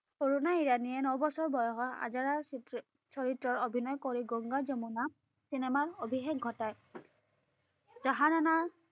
অৰুণা ইৰাণীয়ে নবছৰ বয়সত আজাৰাৰ চিত্ৰ চৰিত্ৰত অভিনয় কৰি গংগা-যমুনা চিনেমাত অভিষেক ঘটায়। জাহানাৰা